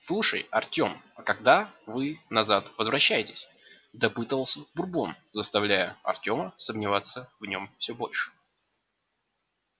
слушай артем а когда вы назад возвращаетесь допытывался бурбон заставляя артема сомневаться в нем все больше